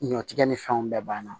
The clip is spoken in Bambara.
Ɲɔtigɛ ni fɛnw bɛɛ banna